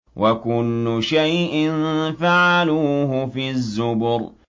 وَكُلُّ شَيْءٍ فَعَلُوهُ فِي الزُّبُرِ